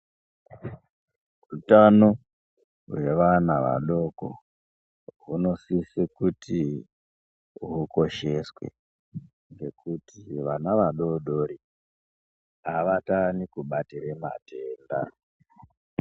Hutano hweana adodori hunosiswe kuti hukosheswe ngekuti vana vadodori hawatani kubatire matenda.